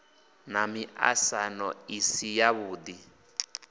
na miaisano i si yavhui